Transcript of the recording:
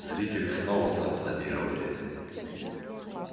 зрители снова зааплодировали